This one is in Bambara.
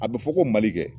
A bɛ fɔ ko mali dɛ